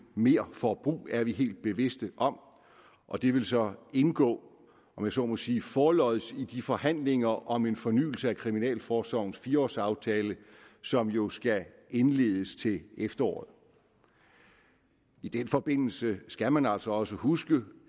merforbrug er vi helt bevidste om og det vil så indgå om jeg så må sige forlods i de forhandlinger om en fornyelse af kriminalforsorgens fire års aftale som jo skal indledes til efteråret i den forbindelse skal man altså også huske